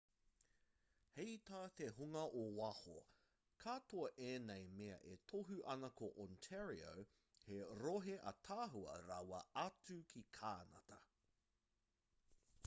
hei tā te hunga o waho katoa ēnei mea e tohu ana ko ontario he rohe ātaahua rawa atu ki kānata